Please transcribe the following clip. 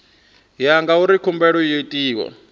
ya ngauri khumbelo yo itwa